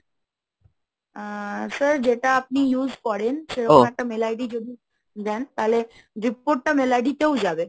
আহ sir যেটা আপনি use করেন সেরকম একটা mail ID যদি দেন তাহলে report টা mail ID তেও যাবে।